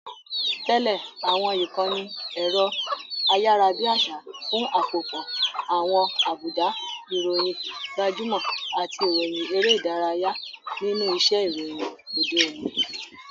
Tẹ̀lé àwọn ìkànnì ẹ̀rọ ayárabíàṣá fún àpòpọ̀ àwọn àbùdá, ìròyìn gbajúmọ̀, àti ìròyìn eré ìdárayá nínú iṣẹ́ ìròyìn òde òní.